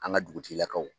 An ka dugutigilakaw